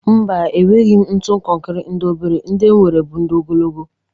Mba, enweghi m ntu kọnkrị ndị obere: ndị m nwere bụ ndị ogologo.